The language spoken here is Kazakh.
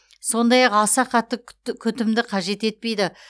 сондай ақ аса қатты күтімді қажет етпейді